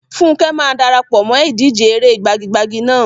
Funke máa dara pọ̀ mọ́ ìdíje eré gbagi-gbagi náà.